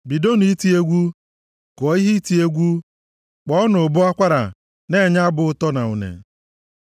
Bidonụ iti egwu, kụọ ihe iti egwu, kpọọnụ ụbọ akwara na-enye abụ ụtọ na une.